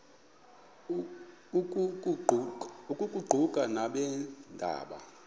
oku kuquka nabeendaba